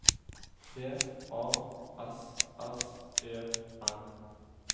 P A S S E R